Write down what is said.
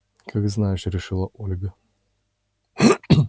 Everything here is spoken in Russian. как знаешь решила ольга